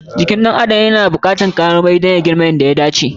Jikin ɗan adam na buƙatan kayan marmari domin ya girma yadda ya dace.